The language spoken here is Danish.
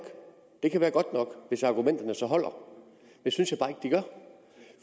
det kan være godt nok hvis argumenterne så holder det synes